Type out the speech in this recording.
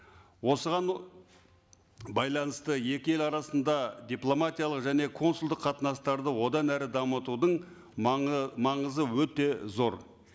осыған байланысты екі ел арасында дипломатиялық және консулдық қатынастарды одан әрі дамытудың маңызы өте зор